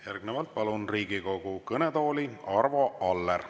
Järgnevalt palun Riigikogu kõnetooli Arvo Alleri.